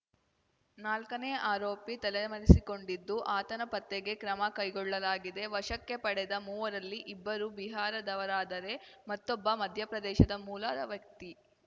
ನಾಲ್ಕನೇ ಆರೋಪಿ ತಲೆಮರೆಸಿಕೊಂಡಿದ್ದು ಆತನ ಪತ್ತೆಗೆ ಕ್ರಮ ಕೈಗೊಳ್ಳಲಾಗಿದೆ ವಶಕ್ಕೆ ಪಡೆದ ಮೂವರಲ್ಲಿ ಇಬ್ಬರು ಬಿಹಾರದವರಾದರೆ ಮತ್ತೊಬ್ಬ ಮಧ್ಯಪ್ರದೇಶ ಮೂಲದ ವ್ಯಕ್ತಿ